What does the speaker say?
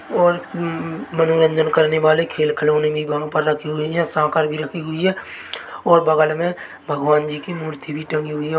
--और मनोरंजन करने वाले खेल खिलौने भी वहाँ पर रखे हुए है भी रखी हुई है और बगल मे भगवान जी की मूर्ति भी टंगी हुई है।